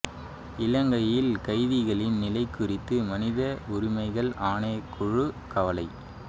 இலங்கையில் கைதிகளின் நிலை குறித்து மனித உரிமைகள் ஆணைக்குழு கவலை